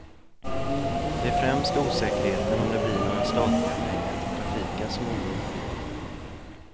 Det är främst osäkerheten om det blir några statliga pengar till trafiken som oroar politikerna.